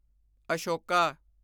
Ashoka